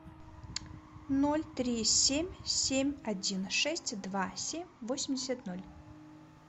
ноль три семь семь один шесть два семь восемьдесят ноль